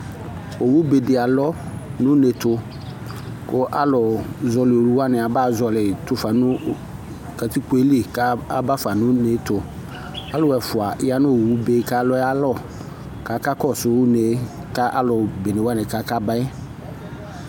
Owu be dɩ alɔ nʋ une ɛtʋ, kʋ alʋ zɔɣɔlɩ owu wanɩ abazɔɣɔlɩ yɩ tʋ fa nʋ katikpo yɛ li, kʋ aba fa nʋ une ɛtʋ Alʋ ɛfʋa ya nʋ owu be yɛ kʋ alɔ yɛ alɔ, kʋ akakɔsʋ une ka alʋ bene wanɩ kʋ akaba yɛ